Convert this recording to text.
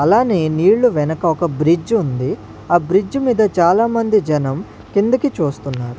అలానే నీళ్లు వెనక ఒక బ్రిడ్జ్ ఉంది ఆ బ్రిడ్జ్ మీద చాలామంది జనం కిందికి చూస్తున్నారు.